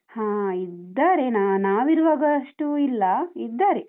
ಹಾ, ಇದ್ದಾರೆ ನಾ ನಾವಿರುವಾಗ ಅಷ್ಟು ಇಲ್ಲ ಇದ್ದಾರೆ.